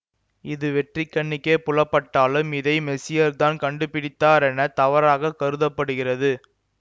இது வெற்றுக்கண்ணுக்கே புலப்பட்டாலும் இதை மெசியர்தான் கண்டுபிடித்தாரெனத் தவறாக கருத படுகிறது